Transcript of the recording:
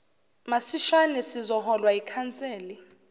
masishane sizoholwa yikhanseli